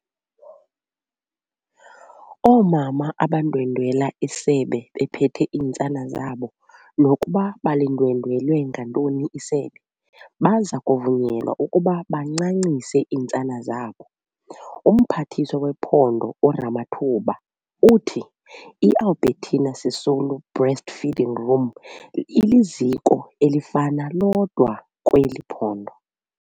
Oomama abandwendwela isebe bephethe iintsana zabo, nokuba balindwendwele ngantoni isebe, baza kuvunyelwa ukuba bancancise iintsana zabo. UMphathiswa wePhondo uRamathuba uthi i-Albertina Sisulu Breastfeeding Room iliziko elifana lodwa kweli phondo.